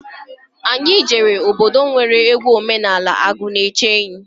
Anyị jere obodo nwere egwu omenani akụnaechenyi.